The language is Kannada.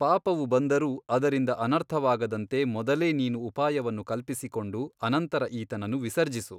ಪಾಪವು ಬಂದರೂ ಅದರಿಂದ ಅನರ್ಥವಾಗದಂತೆ ಮೊದಲೇ ನೀನು ಉಪಾಯವನ್ನು ಕಲ್ಪಿಸಿಕೊಂಡು ಅನಂತರ ಈತನನ್ನು ವಿಸರ್ಜಿಸು.